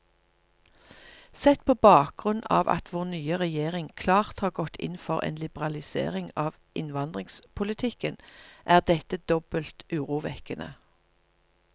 Sett på bakgrunn av at vår nye regjering klart har gått inn for en liberalisering av innvandringspolitikken, er dette dobbelt urovekkende.